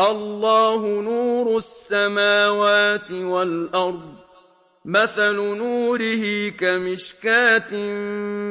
۞ اللَّهُ نُورُ السَّمَاوَاتِ وَالْأَرْضِ ۚ مَثَلُ نُورِهِ كَمِشْكَاةٍ